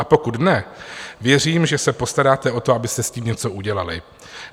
A pokud ne, věřím, že se postaráte o to, abyste s tím něco udělali.